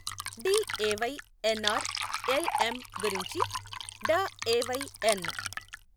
DAY NR L M గురించి DAY ఎన్.